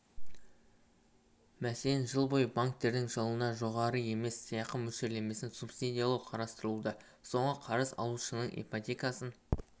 мәселен жыл бойы банктердің жылына жоғары емес сыйақы мөлшерлемесін субсидиялау қарастырылуда соңғы қарыз алушының ипотекасын